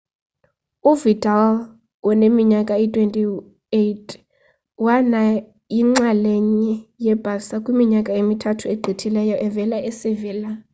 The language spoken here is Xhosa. uvidal woneminyaka eyi-28 wana yinxalenye ye-barca kwiminyaka emithathu egqithileyo evela e-sevilla